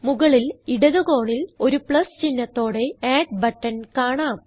മുകളിൽ ഇടത് കോണിൽ ഒരു പ്ലസ് ചിഹ്നത്തോടെ അഡ് ബട്ടൺ കാണാം